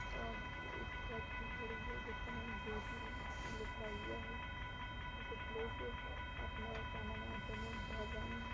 और एक बस भी खड़ी है जिसका नाम ज्योति अ लिखा हुआ है। कुछ लोग अपना सामान ऑटो में भर रहे हैं।